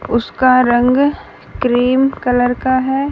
उसका रंग cream colour का है।